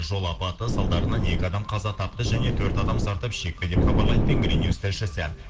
жол апаты салдарынан екі адам қаза тапты және төрт адам зардап шекті деп хабарлайды тенгринюс тілшісі